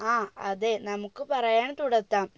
ആ അതെ നമുക്ക് പറയാൻ തുടത്താം